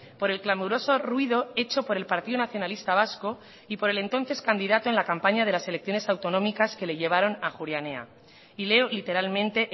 por el clamoroso ruido hecho por el partido nacionalista vasco y por el entonces candidato en la campaña de las elecciones autonómicas que le llevaron a ajuria enea y leo literalmente